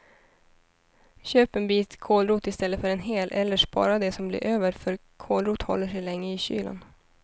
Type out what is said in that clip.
Köp en bit kålrot i stället för en hel, eller spara det som blir över för kålrot håller sig länge i kylen.